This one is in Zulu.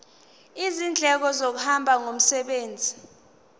izindleko zokuhamba ngomsebenzi